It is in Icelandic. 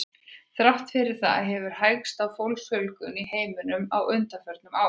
Þrátt fyrir það hefur hægst á fólksfjölgun í heiminum á undanförnum árum.